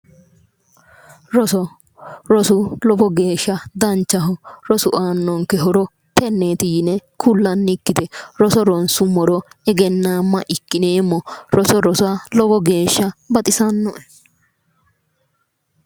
Roso rosu lowo geesha danchaho rosu aannonke horo tenneeti yine kullannikkite roso ronsummoro egennaamma ikkineemmo roso rosa lowo geesha baxisanno'e